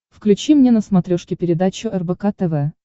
включи мне на смотрешке передачу рбк тв